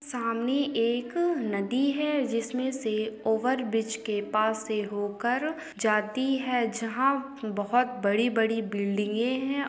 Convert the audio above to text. सामने एक नदी है जिसमें से ओवेर्ब्रिज़ के पास से हो कर जाती है जहाँ बहुत बड़ी- बड़ी बिल्डिंगे हैं।